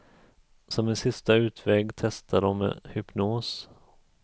Som en sista utväg testade de hypnos.